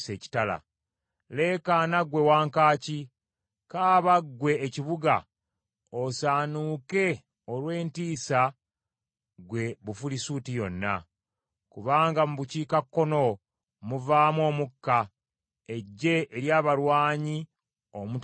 Leekaana ggwe wankaaki, kaaba ggwe ekibuga, osaanuuke olw’entiisa ggwe Bufirisuuti yonna! Kubanga mu bukiikakkono muvaamu omukka, eggye ery’abalwanyi omutali munafu.